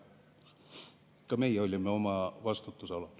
Ka meie olime oma vastutusalal.